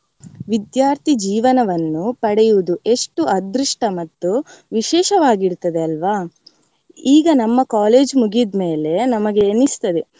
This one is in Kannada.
ವಿದ್ಯಾರ್ಥಿ ಜೀವನವನ್ನು ಪಡೆಯುವುದು ಎಷ್ಟು ಅದೃಷ್ಟ ಮತ್ತು ವಿಶೇಷವಾಗಿರ್ತದೇ ಅಲ್ವಾ ಈಗ ನಮ್ಮ college ಮುಗಿದ್ಮೇಲೆ ನಮಗೆ ಎಣಿಸ್ತದೆ.